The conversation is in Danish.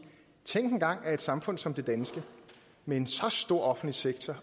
tænk engang at et samfund som det danske med en så stor offentlig sektor